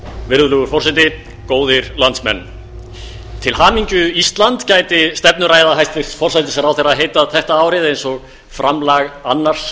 virðulegur forseti góðir landsmenn til hamingju ísland gæti stefnuræða hæstvirts forsætisráðherra heitið þetta árið eins og framlag annars